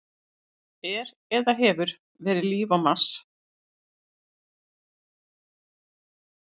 Er eða hefur verið líf á reikistjörnunni Mars?